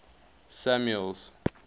samuel's